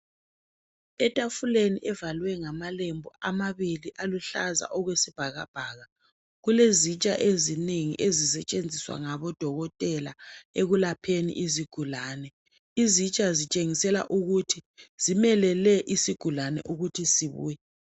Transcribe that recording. Etafuleni evalwe ngamalembu amabili aluhlaza okwesibhakabhaka kulezitsha ezinengi ezisetshenziswa ngabodokotela ekulapheni izigulani. Izitsha zitshengisela ukuthi zimelele isigulani ukuthi sibuye.